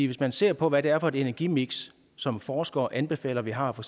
hvis man ser på hvad det er for et energimix som forskere anbefaler vi har på